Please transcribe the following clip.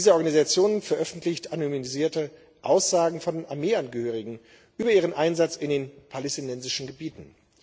Diese Organisation veröffentlicht anonymisierte Aussagen von Armeeangehörigen über ihren Einsatz in den palästinensischen Gebieten.